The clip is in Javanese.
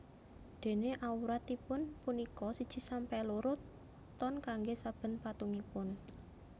Dene awratipun punika siji sampe loro ton kangge saben patungipun